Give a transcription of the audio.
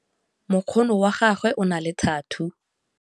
Mokgono wa gagwe o na le thathuu.